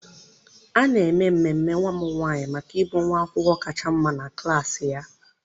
A na-eme ememe nwa m nwanyị maka ịbụ nwa akwụkwọ kacha mma na klassị ya.